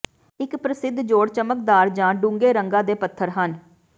ਇੱਕ ਪ੍ਰਸਿੱਧ ਜੋੜ ਚਮਕਦਾਰ ਜਾਂ ਡੂੰਘੇ ਰੰਗਾਂ ਦੇ ਪੱਥਰ ਹਨ